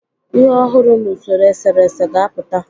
Ihe ọhụrụ n'usoro eserese ga-apụta.